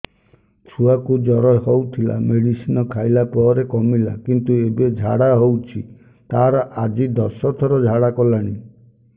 ଛୁଆ କୁ ଜର ହଉଥିଲା ମେଡିସିନ ଖାଇଲା ପରେ କମିଲା କିନ୍ତୁ ଏବେ ଝାଡା ହଉଚି ତାର ଆଜି ଦଶ ଥର ଝାଡା କଲାଣି